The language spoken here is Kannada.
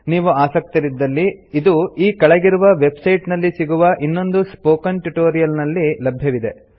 ನೀವು ಆಸಕ್ತರಿದ್ದಲ್ಲಿ ಇದು ಈ ಕೆಳಗಿರುವ ವೆಬ್ ಸೈಟ್ ನಲ್ಲಿ ಸಿಗುವ ಇನ್ನೊಂದು ಸ್ಪೋಕನ್ ಟ್ಯುಟೋರಿಯಲ್ ನಲ್ಲಿ ಲಭ್ಯವಿದೆ